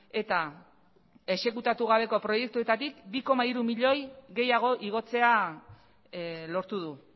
eta exekutatu gabeko proiektuetatik bi koma hiru milioi gehiago igotzea lortu du